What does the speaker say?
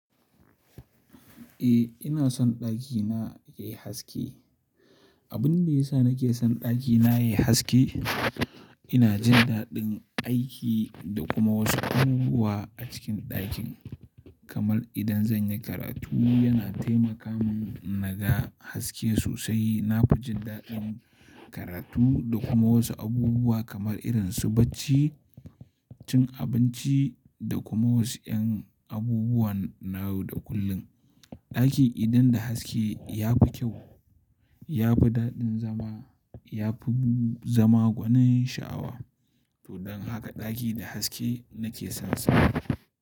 Eh ina son ɗakina yayi haske. Abunda yasa nake son ɗakina yayi haske, ina jin daɗin aiki da kuma wasu abubuwa a cikin ɗakin. Kamar idan zan yi karatu yana taimaka min naga haske sosai. Na fi jin daɗin karatu da kuma wasu abubuwa kamar irin su bacci, cin abinci da kuma wasu ƴan abubuwan na yau da kullum. Ɗaki idan da haske ya fi kyau, ya fi daɗin zama, ya fi zama gwanin sha'awa. To don haka ɗaki da haske nake son sa.